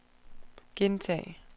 gentag